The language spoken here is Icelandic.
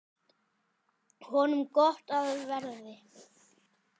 Honum gott af verði.